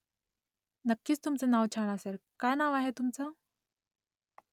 नक्कीच तुमचं नाव छान असेल काय नाव आहे तुमचं ?